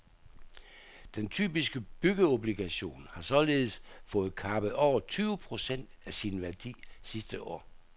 Den typiske byggeobligation har således fået kappet over tyve procent af sin værdi sidste år.